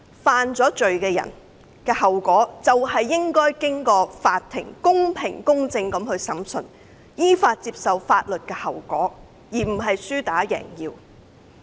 犯罪的人的後果是，依法接受法庭公平公正的審訊，並承擔後果，而不是輸打贏要。